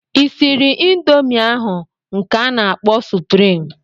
I sịrị ịndomii ahụ nke a na-akpọ suprịm?